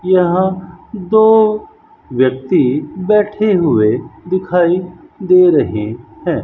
यहां दो व्यक्ति बैठे हुए दिखाई दे रहे हैं।